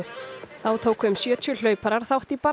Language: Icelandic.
þá tóku um sjötíu hlauparar þátt í